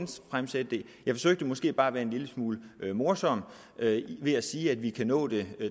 jeg forsøgte måske bare at være en lille smule morsom ved at sige at vi kan nå det